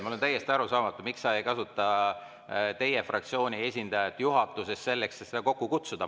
Mulle on täiesti arusaamatu, miks sa ei kasuta teie fraktsiooni esindajat juhatuses selleks, et seda kokku kutsuda.